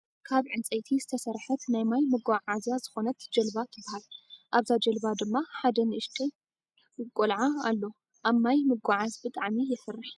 ካብ ዕንፃይቲ ዝተሰርሐት ናይ ማይ መጉዓዝያ ዝኮነት ጀልባ ትባሃል ኣብዛ ጀልባ ድማ ኣደ ንእሽተይ ጎልኣ ኣሎ ። ኣብ ማይ ምጉዓዝ ብጣዕሚ የፍርሕ።